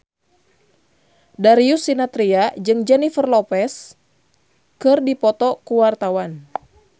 Darius Sinathrya jeung Jennifer Lopez keur dipoto ku wartawan